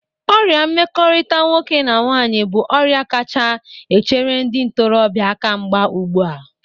Ọrịa mmekọrịta nwoke na nwaanyị bụ ọrịa kacha echere ndị ntorọbịa akamgba ụgbụ a.